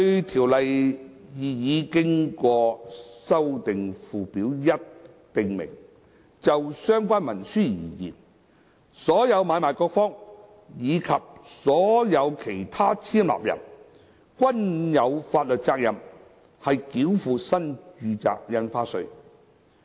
《條例》擬議經修訂附表1訂明，就相關文書而言，"所有買賣各方，以及所有其他簽立人"均有法律責任繳付新住宅印花稅。